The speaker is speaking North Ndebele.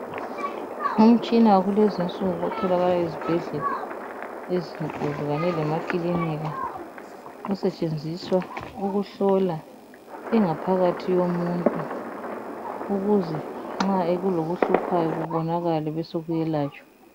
Imitshina yakulezinsuku etholakala ezibhedlela ezinkulu kanye lemakiliniki esetshenziswa ukuhlola ingaphakathi yomuntu ukuze nxa kulokuhluphayo kubonakale besokuselatshwa.